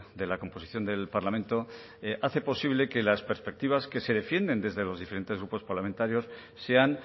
de la composición del parlamento hace posible que las perspectivas que se defienden desde los diferentes grupos parlamentarios sean